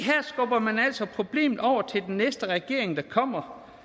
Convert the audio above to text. at man altså problemet over til den næste regering der kommer